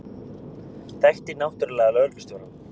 Þekkti náttúrlega lögreglustjórann.